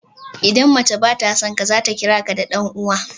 Idan mace ba ta son ka, za ta kira ka "Dan uwa."